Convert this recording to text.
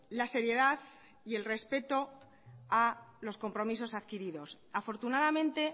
la seriedad y el respeto a los compromisos adquiridos afortunadamente